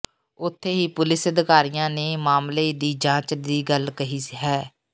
ਉੱਥੇ ਹੀ ਪੁਲਿਸ ਅਧਿਕਾਰੀਆਂ ਨੇ ਮਾਮਲੇ ਦੀ ਜਾਂਚ ਦੀ ਗੱਲ ਕਹੀ ਹੈ